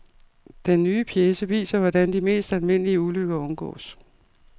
Den nye pjece viser, hvordan de mest almindelige ulykker undgås.